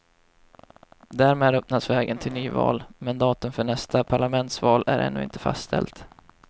Därmed öppnas vägen till nyval, men datum för nästa parlamentsval är ännu inte fastställt.